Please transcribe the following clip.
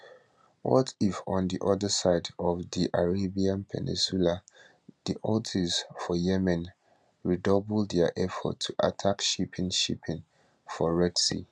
what if on di oda side of di arabian peninsula di houthis for yemen redouble dia efforts to attack shipping shipping for red sea